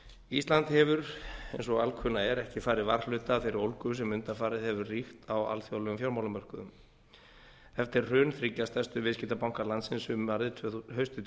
ísland hefur eins og alkunna er ekki farið varhluta af þeirri ólgu sem undanfarið hefur ríkt á alþjóðlegum fjármálamörkuðum eftir hrun þriggja stærstu viðskiptabanka landsins haustið tvö þúsund